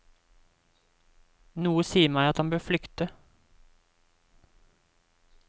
Noe sier meg at han bør flykte.